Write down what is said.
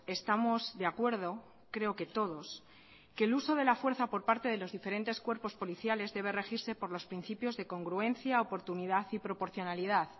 estamos de acuerdo creo que todos que el uso de la fuerza por parte de los diferentes cuerpos policiales debe regirse por los principios de congruencia oportunidad y proporcionalidad